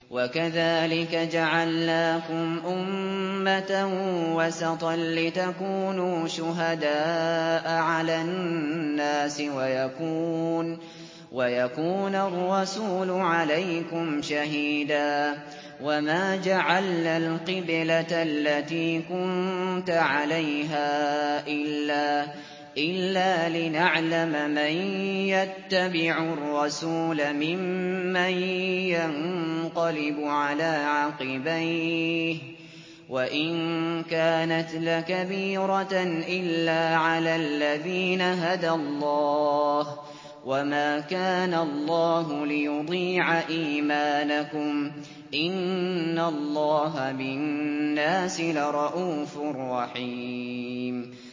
وَكَذَٰلِكَ جَعَلْنَاكُمْ أُمَّةً وَسَطًا لِّتَكُونُوا شُهَدَاءَ عَلَى النَّاسِ وَيَكُونَ الرَّسُولُ عَلَيْكُمْ شَهِيدًا ۗ وَمَا جَعَلْنَا الْقِبْلَةَ الَّتِي كُنتَ عَلَيْهَا إِلَّا لِنَعْلَمَ مَن يَتَّبِعُ الرَّسُولَ مِمَّن يَنقَلِبُ عَلَىٰ عَقِبَيْهِ ۚ وَإِن كَانَتْ لَكَبِيرَةً إِلَّا عَلَى الَّذِينَ هَدَى اللَّهُ ۗ وَمَا كَانَ اللَّهُ لِيُضِيعَ إِيمَانَكُمْ ۚ إِنَّ اللَّهَ بِالنَّاسِ لَرَءُوفٌ رَّحِيمٌ